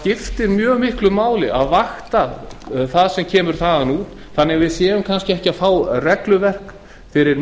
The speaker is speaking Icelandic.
skiptir mjög miklu máli að vakta það sem kemur þaðan þannig að fáum kannski ekki regluverk fyrir